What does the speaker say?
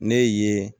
Ne ye